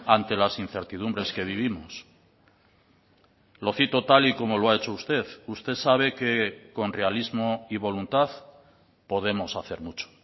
ante las incertidumbres que vivimos lo cito tal y como lo ha hecho usted usted sabe que con realismo y voluntad podemos hacer mucho